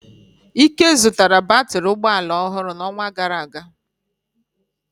Ike zụtara batrị ụgbọ ala ọhụrụ n'ọnwa gara aga.